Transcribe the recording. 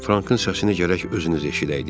Frankın səsini gərək özünüz eşidəydiniz.